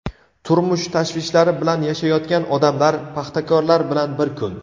Turmush tashvishlari bilan yashayotgan odamlar: paxtakorlar bilan bir kun.